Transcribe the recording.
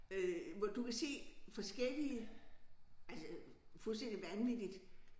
Øh hvor du kan se forskellige altså fuldstændig vanvittigt